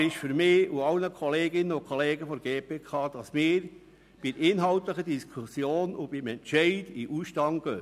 Es ist mir und allen Kolleginnen und Kollegen der GPK sonnenklar, dass wir bei den inhaltlichen Diskussionen und beim Entscheid in den Ausstand treten.